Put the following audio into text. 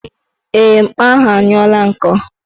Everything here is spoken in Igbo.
Ee, mkpa ahụ anyụla nkọ